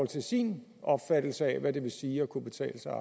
til sin opfattelse af hvad det vil sige at kunne betale sig